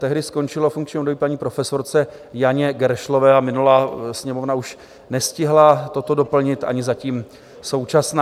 Tehdy skončilo funkční období paní profesorce Janě Geršlové a minulá Sněmovna už nestihla toto doplnit, ani zatím současná.